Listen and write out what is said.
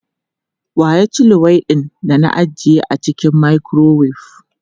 Wa ya ci luwaiɗin da ajiye a cikin makurowef?